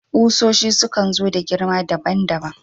Ƙusoshi sukan so da girma daban-daban